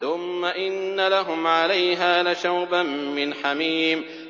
ثُمَّ إِنَّ لَهُمْ عَلَيْهَا لَشَوْبًا مِّنْ حَمِيمٍ